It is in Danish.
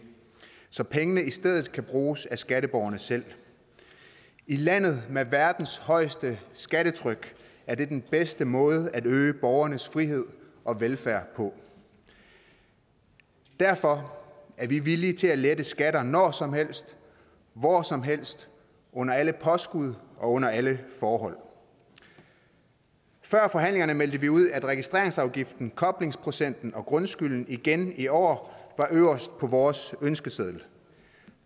så pengene i stedet kan bruges af skatteborgerne selv i landet med verdens højeste skattetryk er det den bedste måde at øge borgernes frihed og velfærd på derfor er vi villige til at lette skatter når som helst hvor som helst under alle påskud og under alle forhold før forhandlingerne meldte vi ud at registreringsafgiften koblingsprocenten og grundskylden igen i år var øverst på vores ønskeseddel